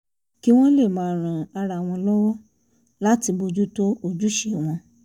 kí wọ́n lè máa ran ara wọn lọ́wọ́ láti bójú tó ojúṣe wọn